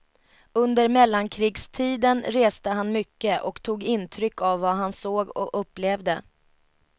Under mellankrigstiden reste han mycket och tog intryck av vad han såg och upplevde.